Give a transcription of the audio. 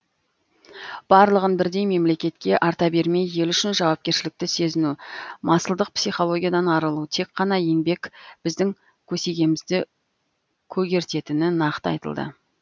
барлығын бірдей мемлекетке арта бермей ел үшін жауапкершілікті сезіну масылдық психологиядан арылу тек қана еңбек біздің көсегемізді көгертетіні нақты айтылды